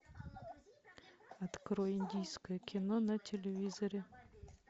открой индийское кино на телевизоре